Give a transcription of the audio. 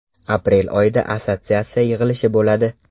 Aprel oyida assotsiatsiya yig‘ilishi bo‘ladi.